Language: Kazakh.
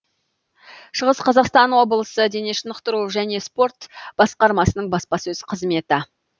шығыс қазақстан облысы дене шынықтыру және спорт басқармасының баспасөз қызметі